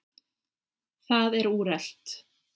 Það er úrelt.